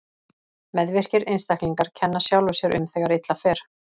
Meðvirkir einstaklingar kenna sjálfum sér um þegar illa fer.